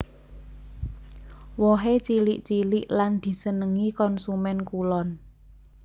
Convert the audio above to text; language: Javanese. Wohé cilik cilik lan disenengi konsumèn kulon